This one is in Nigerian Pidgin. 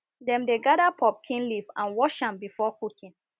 dem dey gather pumpkin leaf and wash am before cooking